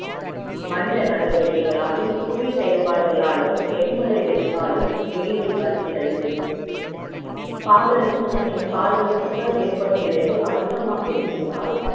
மனித நடவடிக்கைகளாலும் புவி செயல்பாடுகளாலும் எரிமலை வெடிப்புகளாலும் வெயிலில் வருகிறது பாதரசம் மற்றும் பாதரசத்தல் ஏற்படும் விளைவால் அதிகம் இருந்தால்